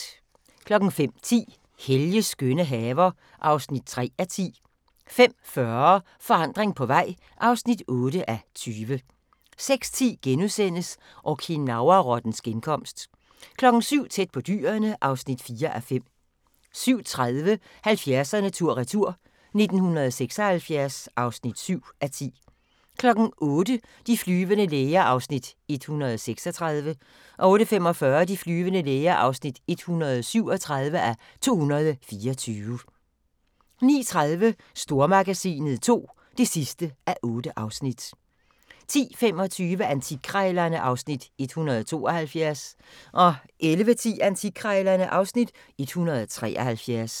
05:10: Helges skønne haver (3:10) 05:40: Forandring på vej (8:20) 06:10: Okinawa-rottens genkomst * 07:00: Tæt på dyrene (4:5) 07:30: 70'erne tur-retur: 1976 (7:10) 08:00: De flyvende læger (136:224) 08:45: De flyvende læger (137:224) 09:30: Stormagasinet II (8:8) 10:25: Antikkrejlerne (Afs. 172) 11:10: Antikkrejlerne (Afs. 173)